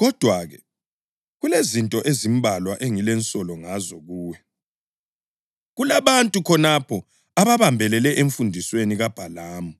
Kodwa-ke, kulezinto ezimbalwa engilensolo ngazo kuwe: Kulabantu khonapho ababambelele emfundisweni kaBhalamu,